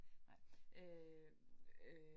Nej øh øh